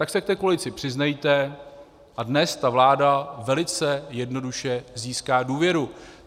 Tak se k té koalici přiznejte a dnes ta vláda velice jednoduše získá důvěru.